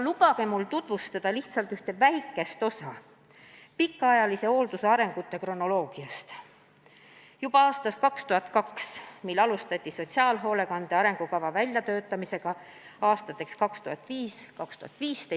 Lubage mul tutvustada lihtsalt üht väikest osa pikaajalise hoolduse arengu kronoloogiast, juba alates aastast 2002, mil alustati sotsiaalhoolekande arengukava väljatöötamist aastateks 2005–2015.